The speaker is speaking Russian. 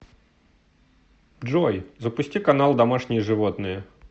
джой запусти канал домашние животные